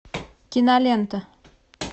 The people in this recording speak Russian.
кинолента